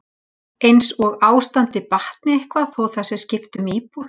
Eins og ástandið batni eitthvað þó að það sé skipt um íbúð?